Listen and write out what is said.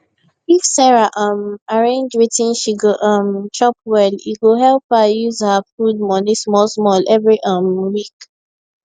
if sarah um arrange wetin she go um chop well e go help her use her food money small small every um week